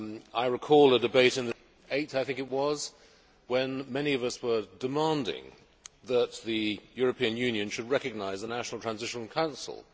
I recall a debate in this Chamber on 8 March, when many of us were demanding that the European Union should recognise the National Transitional Council.